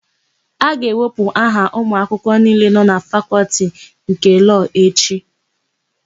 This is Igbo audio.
A ga-ewepụta aha ụmụakwụkwọ niile nọ na Fakọltị nke Lọọ echi.